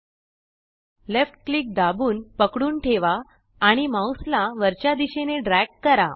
left click दाबून पकडून ठेवा आणि माउस ला वरच्या दिशेने ड्रॅग करा